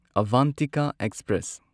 Avantika express